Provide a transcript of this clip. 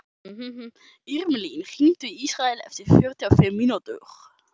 Irmelín, hringdu í Ísrael eftir fjörutíu og fimm mínútur.